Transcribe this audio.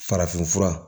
Farafin fura